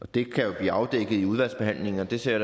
det kan jo blive afdækket i udvalgsbehandlingen og det ser